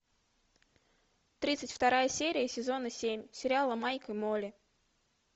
тридцать вторая серия сезона семь сериала майк и молли